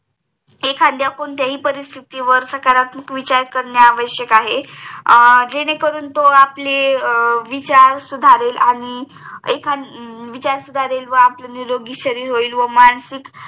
एखाद्या कोणत्याही परिस्तितीवर सकारात्मक विचार करणे आवश्यक आहे जेणेकरून तो आपले विचार सुधारेल अं व आपले निरोगी शरीर होईल व मानसिक